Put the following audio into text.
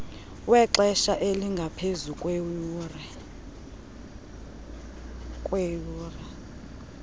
wexesha elingaphezu kweeyure